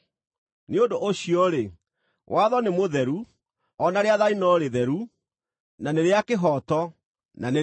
Nĩ ũndũ ũcio-rĩ, watho nĩ mũtheru, o na rĩathani no rĩtheru, na nĩ rĩa kĩhooto na nĩ rĩega.